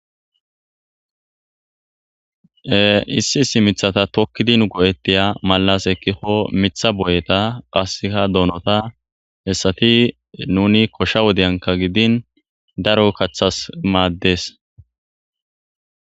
issi issi mithata tokkidinu go7ettiya malas ekkiko mitha boyeta qasseka doonota hessati nuni koshsha wodeyanka gidin daro kaththas maaddes